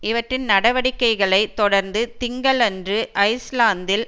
இவற்றின் நடவடிக்கைகளை தொடர்ந்து திங்களன்று ஐஸ்லாந்தில்